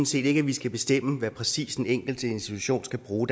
set ikke vi skal bestemme præcis hvad den enkelte institution skal bruge